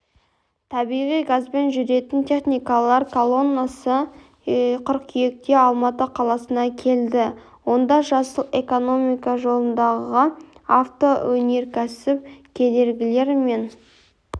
табиғи газбен жүретін техникалар колоннасы қыркүйекте алматы қаласына келді онда жасыл экономика жолындағы автоөнеркәсіп кедергілер мен